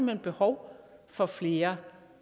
hen behov for flere